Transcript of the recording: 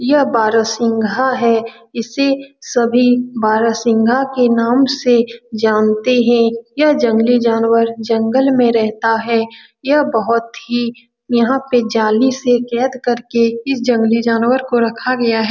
यह बारहसिंघा है इसे सभी बारहसिंघा के नाम से जानते हैं यह जंगली जानवर जंगल में रहता है यह बहुत ही यहाँ पे जाली से कैद कर के इस जंगली जानवर को रखा गया है ।